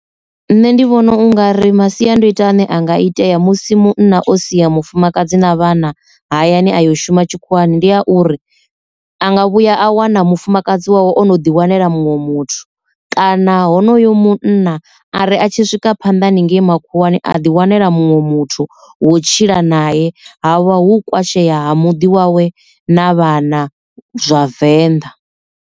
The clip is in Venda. Nṋe ndi vhona u nga ri masiandoitwa ane anga itea musi munna o sia mufumakadzi na vhana hayani a yo shuma tshikhuwani ndi a uri, anga vhuya a wana mufumakadzi wawe ono ḓi wanela muṅwe muthu kana honoyo munna ari a tshi swika phanḓa haningei makhuwani a ḓi wanela muṅwe muthu wo tshila naye havha hu kwasheye ha muḓi wawe na vhana zwa venḓa.